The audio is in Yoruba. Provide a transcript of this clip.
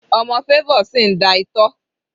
Ọmọ Favour sì ń da itọ́.